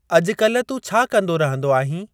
अॼुकाल्हि तूं छा कंदो रहंदो आहीं?